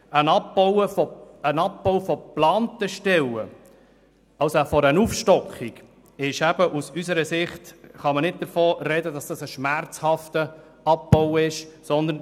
Beim Abbau von geplanten Stellen respektive einer Aufstockung kann man aus unserer Sicht nicht von einem schmerzhaften Abbau sprechen.